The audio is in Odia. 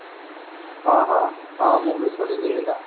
ହଁ ହଁ ମୁଁ ବି ଶୁଣିଛି